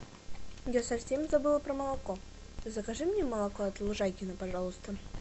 я совсем забыла про молоко закажи мне молоко от лужайкино пожалуйста